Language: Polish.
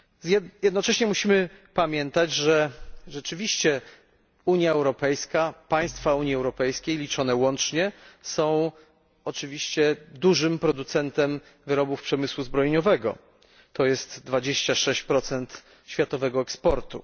Musimy jednocześnie pamiętać, że rzeczywiście Unia Europejska, państwa Unii Europejskiej liczone łącznie, są dużym producentem wyrobów przemysłu zbrojeniowego, to jest 26 światowego eksportu.